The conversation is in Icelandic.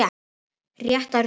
Rétta röðin.